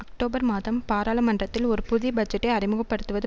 October மாதம் பாராளுமன்றத்தில் ஒரு புதிய பட்ஜெட்டை அறிமுக படுத்துவது